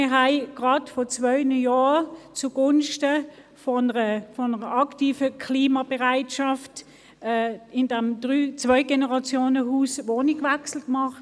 Wir haben vor zwei Jahren zugunsten eines aktiven Klimaschutzes in diesem Zwei-Generationen-Haus einen Wohnungswechsel vorgenommen: